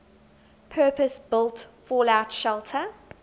purpose built fallout shelter